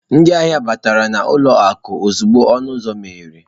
Ndị ahịa batara n'ụlọ akụ ozugbo ọnụ ụzọ meghere.